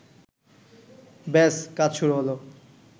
ব্যাস কাজ শুরু হলো